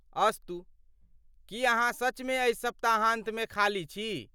अस्तु , की अहाँ सचमे एहि सप्ताहान्तमे खाली छी?